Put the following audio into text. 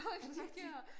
Er det rigtigt